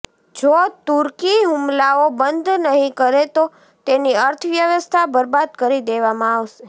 જો તુર્કી હુમલાઓ બંધ નહી કરે તો તેની અર્થવ્યવસ્થા બરબાદ કરી દેવામાં આવશે